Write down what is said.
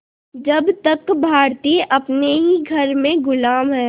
जब तक भारतीय अपने ही घर में ग़ुलाम हैं